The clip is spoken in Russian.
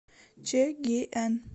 чэгиэн